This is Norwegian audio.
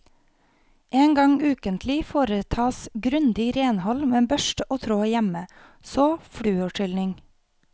En gang ukentlig foretas grundig renhold med børste og tråd hjemme, så fluorskylling.